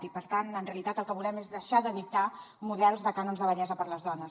i per tant en realitat el que volem és deixar de dictar models de cànons de bellesa per a les dones